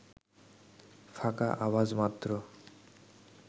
ফাঁকা আওয়াজ মাত্র